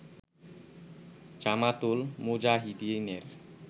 জামাতুল মুজাহিদীনের